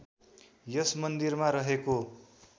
यस मन्दिरमा रहेको